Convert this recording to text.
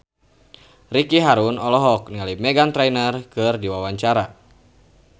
Ricky Harun olohok ningali Meghan Trainor keur diwawancara